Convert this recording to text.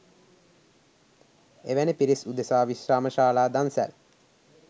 එවැනි පිරිස් උදෙසා විශ්‍රාමශාලා දන්සැල්